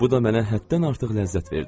Bu da mənə həddən artıq ləzzət verdi.